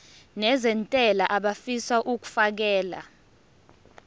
nezentela abafisa uukfakela